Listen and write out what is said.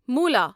مُلا